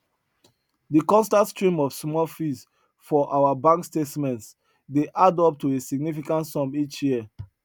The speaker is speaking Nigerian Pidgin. de constant stream of small fees for our bank statements dey add up to a significant sum each year